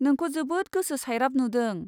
नोंखौ जोबोद गोसो सायराब नुदों?